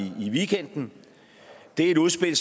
weekenden det er et udspil